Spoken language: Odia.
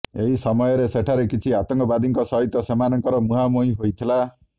ଏହି ସୟୟରେ ସେଠାରେ କିଛି ଆତଙ୍କବାଦୀଙ୍କ ସହିତ ସେମାନଙ୍କର ମୁହାଁମୁହିଁ ହୋଇଥିଲା